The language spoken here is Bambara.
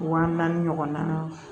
Wa naani ɲɔgɔn na